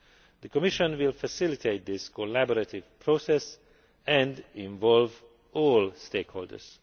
The Commission will facilitate this collaborative process and involve all stakeholders.